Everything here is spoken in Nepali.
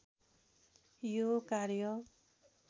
यो कार्य